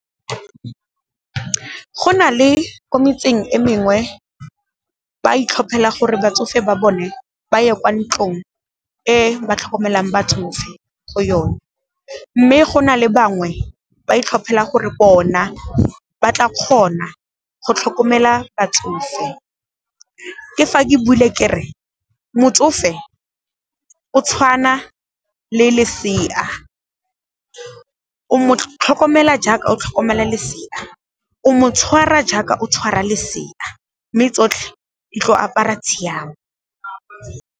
Go na le ko metseng e mengwe ba itlhophela gore batsofe ba bone ba ye kwa ntlong e ba tlhokomelang batho go yone, mme go na le bangwe ba itlhophela gore bona ba tla kgona go tlhokomela batsofe. Ke fa ke bule ke re, motsofe o tshwana le lesea, o motlhokomelwa jaaka o tlhokomela lesea, o motshwara jaaka o tshwara lesea, mme tsotlhe di tlo apara tshiamo.